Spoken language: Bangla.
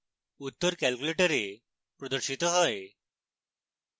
উত্তর calculator প্রদর্শিত হয়